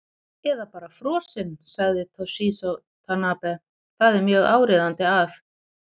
Eða bara frosinn, sagði Toshizo Tanabe, það er mjög áríðandi að.